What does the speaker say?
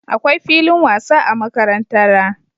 Akwai filin wasa a makarantara